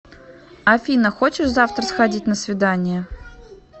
афина хочешь завтра сходить на свидание